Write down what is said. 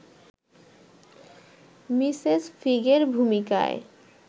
Mrs ফিগের ভূমিকায়